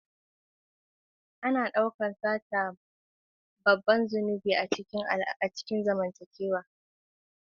Ana daukar sata a matsayin babban zunubi na zamantakewa.